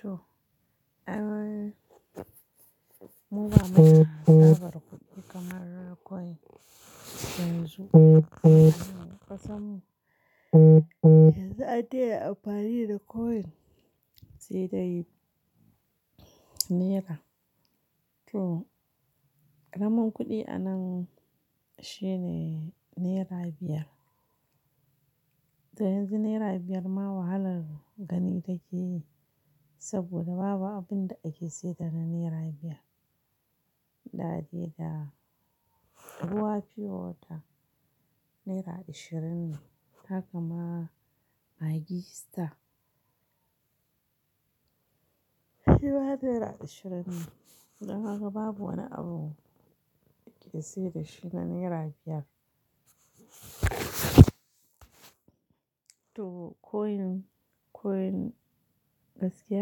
To, eh muba muda tsaɓar kuɗi kamar coin yanzu a ƙasanmu. Yanzu an dens amfani da coin se dai danaira. To, ƙaramin kuɗi anan shine nera biyar. Dan yanzu nera biyar ma wahalar gani take yi, saboda babu abin da ake siyar da naira biyar. Da dai da ruwa fiyo wata naira ashirin ne, haka ma maggi star. Ruwa naira ashirin ne, daga haka babu wani abu ake sayar da shi da nera biyar. To coin, coin gaskiya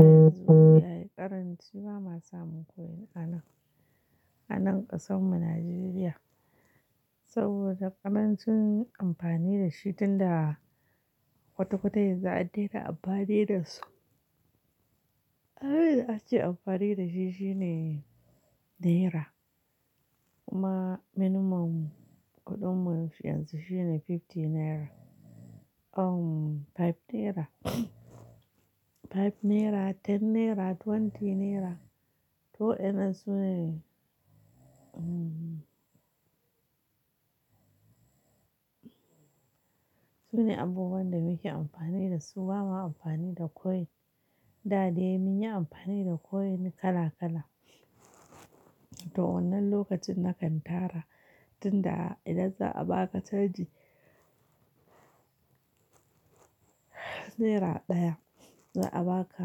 yanzu yayi ƙaranci ba ma samun coin anan, anan ƙasan mu Najeriya. Saboda ƙarancin amfani da shi tun da kwata-kwata yanzu an dena amfani da su. Abin da ake amfani da shi shine naira kuma minimum kuɗin mu yanzu shine fifty naira, um five naira, five naira, ten naira, twenty naira. To ina su ne? Su ne abubuwan da muke amfani da su ba ma amfani da coin. Da dai mun yi amfani da coin kala-kala. To wannan lokacin na kan tara tun da idan za a baka canji, naira ɗaya za a baka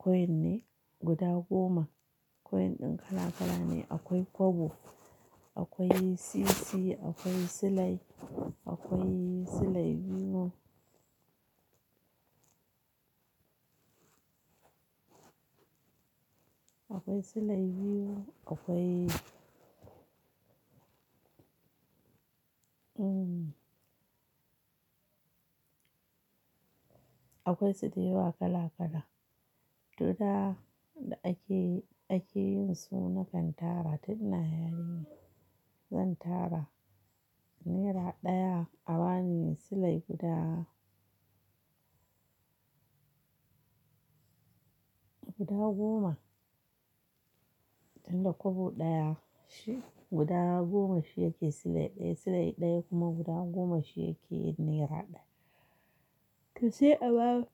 coin ne guda goma. Coin ɗin kala-kala ne akwai kwabo, akwai sisi, akwai silai, akwai silai biyu, akwai silai biyu akwai akwai su dayawa kala-kala. To da ake, ake yin su na kan tara tun na yarinya zan tara naira ɗaya a bani silai guda, guda goma. Tun da kwabo ɗaya shi guda goma shi yake silai ɗaya, silai ɗaya kuma guda goma shi yake naira ɗaya. To sai aba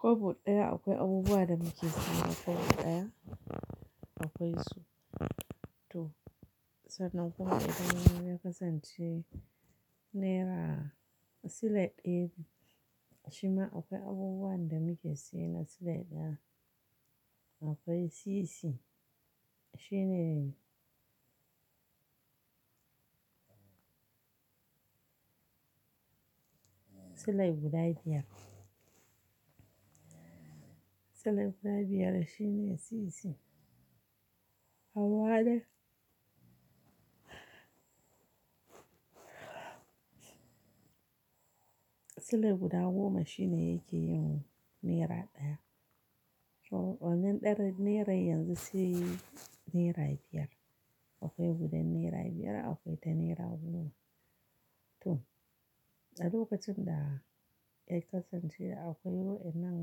kobo daya akwai abubuwan da muke saya kobo ɗaya, akwai su to, sannan kuma idan yakasance naira silai ɗaya biyu shima akwai abubuwa da muke saye na silai ɗaya. Akwai sisi shi ne silai guda biyar. Silai guda biyar shi ne sisi. Hawaɗa. Silai guda goma shi ne yake yin naira ɗaya. To wannan ɗaren naira yanzu sai naira biyar. Akwai gudan naira biyar akwai ta naira goma. To, a lokacin da kai yakasan cewa akwai wannan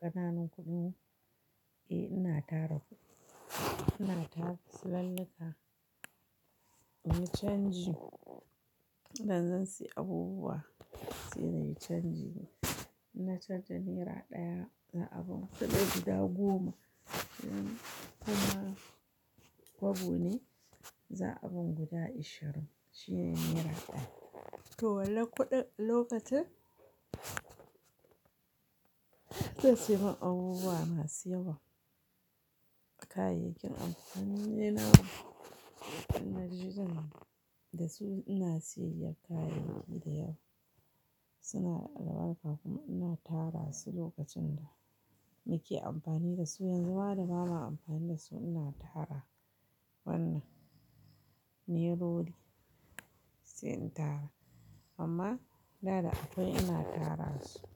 ƙananun kuɗin, eh ina tara kuɗi. Ina tara silallika muyi canji idan zan sayi abubuwa sai nayi canji. Inna chanja naira ɗaya, za'aban silai guda goma kuma kobo ne za a bani guda ashirin shine naira ɗaya. To wallah kuɗin lokacin zai sayan min abubuwa masu yawa. Kayayyakin amfani na in naje zan da su ina sayar da kayayyaki da yawa suna da albarka kuma ina tara su lokacin da muke amfani da su yanzu ma da ba ma amfani da su ina tara wannan nere ri sai in tara. Amma da da akwai ina tara su.